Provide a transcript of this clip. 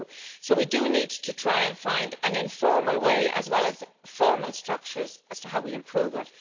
So we need to try and find an informal way as well as formal structures as to how we improve it.